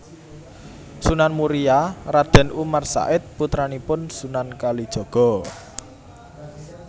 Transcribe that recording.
Sunan Muria Raden Umar Said putranipun Sunan Kalijaga